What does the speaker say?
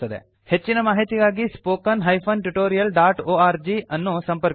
ಹೆಚ್ಚಿನ ಮಾಹಿತಿಗಾಗಿ spoken tutorialಒರ್ಗ್ spoken hyphen tutorial dot O R G ಅನ್ನು ಸಂಪರ್ಕಿಸಿ